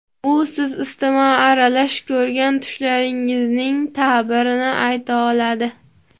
U siz isitma aralash ko‘rgan tushlaringizning ta’birini ayta oladi.